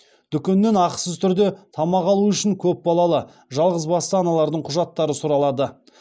дүкеннен ақысыз түрде тамақ алу үшін көпбалалы жалғызбасты аналардың құжаттары сұралады